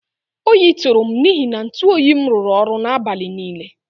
Oyi tụrụm n'ihi na ntụ oyim rụrụ ọrụ n'abalị niile